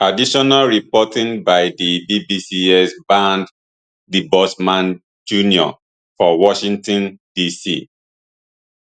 additional reporting by di bbcs bernd debusmann jr for washington dc